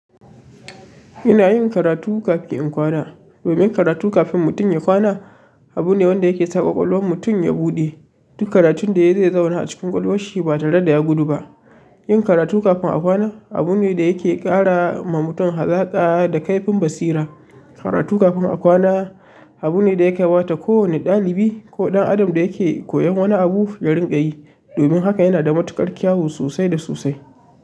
Ina yin karatu kafin in kwana. Domin karatu kafin mutum ya kwana abu ne wanda yake sa kwakwalwar mutum ya buɗe duk karatun da ya zai zauna a cikin kwakwalwashi ba tare da ya gudu ba. Yin karatu kafin a kwana abu ne da yake ƙara ma mutum hazaƙa da kaifin basira. Karatu kafin a kwana abu ne da ya kaiwa ta kowane ɗalibi ko ɗan adam da yake koyon wani abu ya rinƙa yi. Domin haka yana da matuƙar kyau sosai da sosai.